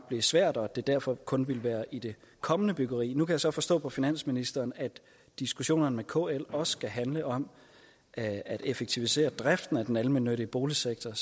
blive svært og at det derfor kun ville være i det kommende byggeri nu kan jeg så forstå på finansministeren at diskussionerne med kl også skal handle om at at effektivisere driften af den almennyttige boligsektor